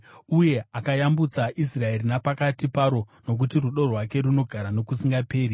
uye akayambutsa Israeri napakati paro, Nokuti rudo rwake runogara nokusingaperi.